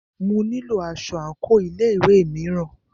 Mo nílo aṣọ àńkò ilé ìwé mìíràn.